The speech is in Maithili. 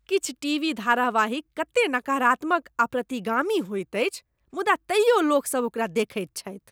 किछु टीवी धारावाहिक कतेक नकारात्मक आ प्रतिगामी होइत अछि मुदा तैयो लोकसभ ओकरा देखैत छथि।